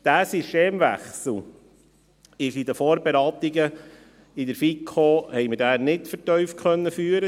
Dieser Systemwechsel konnte in den Vorberatungen der FiKo nicht vertieft behandelt werden.